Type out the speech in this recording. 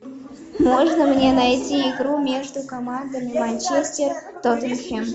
можно мне найти игру между командами манчестер тоттенхэм